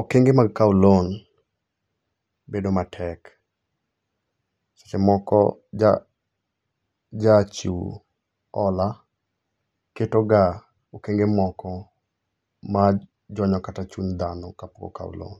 okenge mag kawo loan bedo matek. Seche moko jachiw hola, ketoga okenge moko majonyo kata chuny dhano kapok okawo loan.